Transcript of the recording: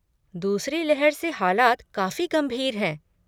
दूसरी लहर से हालात काफी गंभीर हैं।